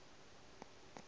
se tshepe tšeke o ka